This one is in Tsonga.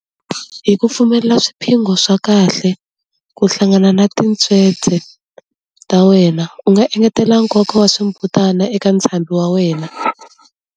Hi ku pfumelela swiphongho swa kahle ku hlangana na tintswete ta wena, u nga engetela nkoka wa swimbutana eka ntshambi wa wena.